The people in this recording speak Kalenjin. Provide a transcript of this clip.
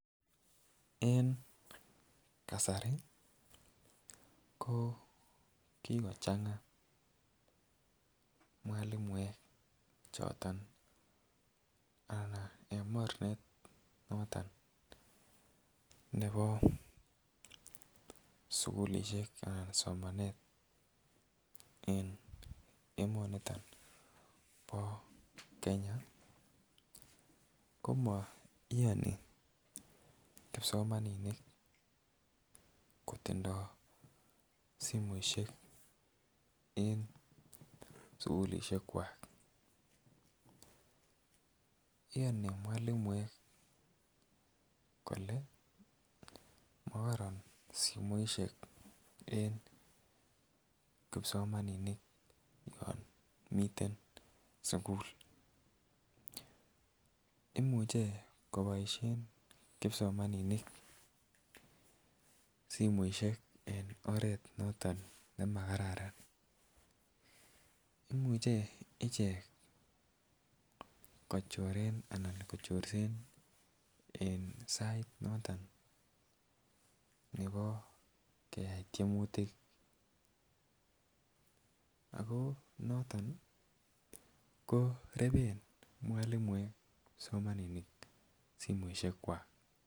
En kasari ko kikochenga mwalimuek choton anan en mornet noton nebo sukulishek annlan somanet en emoniton bo Kenya komo iyoni kipsomaninik kotindo simoishek en sukulishek kwak. Iyoni mwalimuek kole mokoron simoishek en kipsomaninik yon miten sukul, imuche koboishen kipsomaninik simoishek en oret noton nemakararan. Imuche ichek kochoren ana kochorsen en sait noton nebo kayai tyemutik ako noton reben mwalimuek kipsomaninik simoishek kwak.